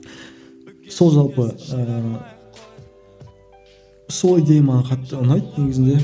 сол жалпы ыыы солай деген маған қатты ұнайды негізінде